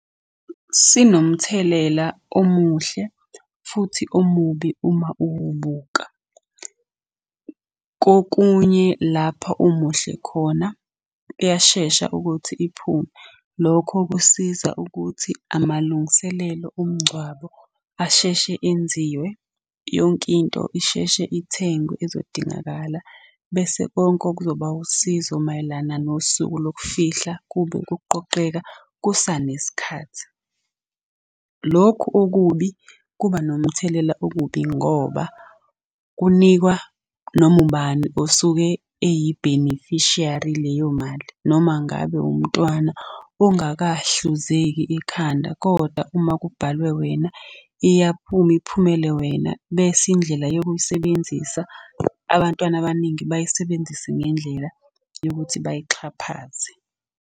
Sinomthelela omuhle futhi omubi uma uwubuka. Kokunye lapha omuhle khona kuyashesha ukuthi iphume. Lokho kusiza ukuthi amalungiselelo omngcwabo asheshe enziwe, yonke into isheshe ithengwe ezodingakala, bese konke okuzoba usizo mayelana nosuku lokufihla kube kuqoqeka kusanesikhathi. Lokhu okubi kuba nomthelela okubi ngoba kunikwa noma ubani osuke eyibhenifishiyari kuleyo mali noma ngabe wumntwana ongakahluzeki ekhanda kodwa uma kubhalwe wena iyaphuma iphumele wena. Bese indlela yokuyisebenzisa, abantwana abaningi bayisebenzise ngendlela yokuthi bayixhaphaze.